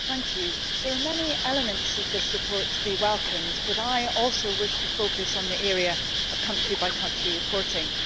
Madam President, there are many elements of this report to be welcomed, but I also wish to focus on the area of country by country reporting.